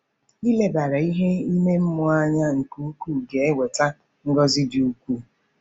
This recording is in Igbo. Ilebara ihe ime mmụọ anya nke ukwuu ga-eweta ngọzi dị ukwuu.